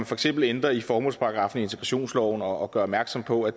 for eksempel ændrer i formålsparagraffen i integrationsloven og gør opmærksom på at